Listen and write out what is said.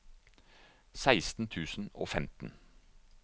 seksten tusen og femten